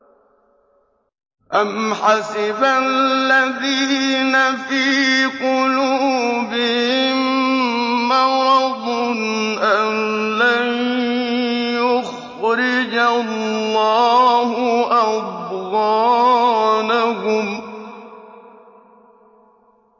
أَمْ حَسِبَ الَّذِينَ فِي قُلُوبِهِم مَّرَضٌ أَن لَّن يُخْرِجَ اللَّهُ أَضْغَانَهُمْ